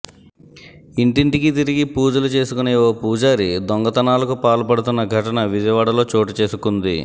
ఇంటింటికీ తిరిగి పూజలు చేసుకునే ఓ పూజారి దొంగతనాలకు పాల్పడుతోన్న ఘటన విజయవాడలో చోటు చేసుకుంది